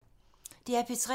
DR P3